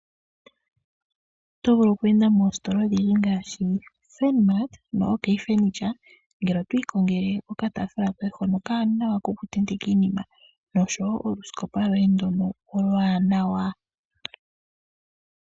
Oto vulu okweenda moostola odhindji ngaashi: Furnmart, noOK furniture ngele otwi ikongele okatafuula koye hono okawanawa kokutenteka iinima, noshowo olusikopa lwoye ndono olwaanawa.